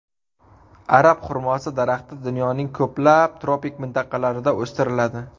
Arab xurmosi daraxti dunyoning ko‘plab tropik mintaqalarida o‘stiriladi.